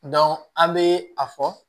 an bɛ a fɔ